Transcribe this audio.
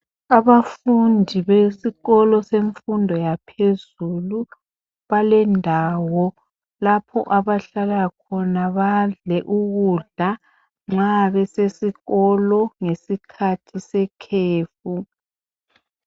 Abafundi besikolo semfundo yaphezulu balendawo lapho abahlala khona badle ukudla nxa besesikolo ngesikhathi sekhefu.